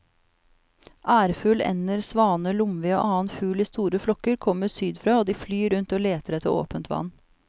Ærfugl, ender, svaner, lomvi og annen fugl i store flokker kommer sydfra og de flyr rundt og leter etter åpent vann.